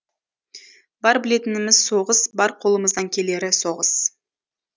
бар білетініміз соғыс бар қолымыздан келері соғыс